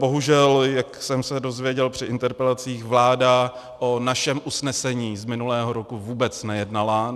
Bohužel, jak jsem se dozvěděl při interpelacích, vláda o našem usnesení z minulého roku vůbec nejednala.